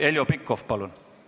Heljo Pikhof, palun!